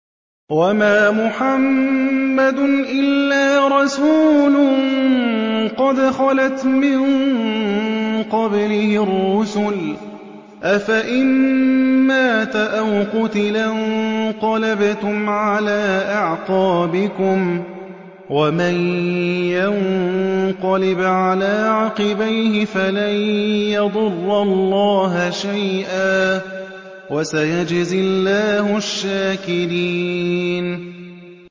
وَمَا مُحَمَّدٌ إِلَّا رَسُولٌ قَدْ خَلَتْ مِن قَبْلِهِ الرُّسُلُ ۚ أَفَإِن مَّاتَ أَوْ قُتِلَ انقَلَبْتُمْ عَلَىٰ أَعْقَابِكُمْ ۚ وَمَن يَنقَلِبْ عَلَىٰ عَقِبَيْهِ فَلَن يَضُرَّ اللَّهَ شَيْئًا ۗ وَسَيَجْزِي اللَّهُ الشَّاكِرِينَ